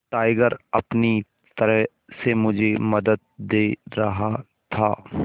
tiger अपनी तरह से मुझे मदद दे रहा था